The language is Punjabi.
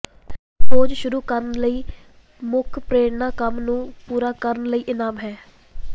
ਖੋਜ ਸ਼ੁਰੂ ਕਰਨ ਲਈ ਮੁੱਖ ਪ੍ਰੇਰਣਾ ਕੰਮ ਨੂੰ ਪੂਰਾ ਕਰਨ ਲਈ ਇਨਾਮ ਹੈ